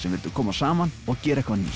en vildu koma saman og gera eitthvað nýtt